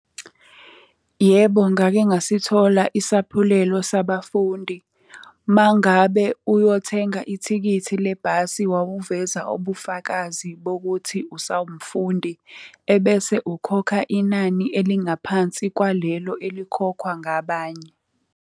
Yebo, ngake ngasithola isaphulelo sabafundi. Uma ngabe uyothenga ithikithi le bhasi wawuveza ubufakazi bokuthi usawumfundi, ebese ukhokha inani elingaphansi kwalelo elikhokhwa ngabanye.